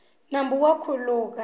nambu wa khuluka